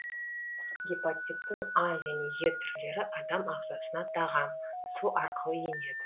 гепатиттің а және е түрлері адам ағзасына тағам су арқылы енеді